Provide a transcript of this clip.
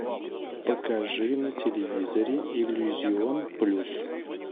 покажи на телевизоре иллюзион плюс